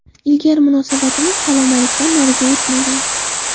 Ilgari munosabatimiz salom-alikdan nariga o‘tmagan.